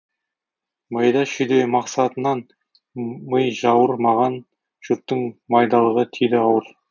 майда шүйде мақсатынан ми жауыр маған жұрттың майдалығы тиді ауыр